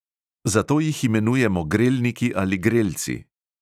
Zato jih imenujemo grelniki ali grelci.